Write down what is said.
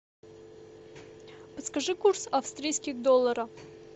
подскажи курс австрийских долларов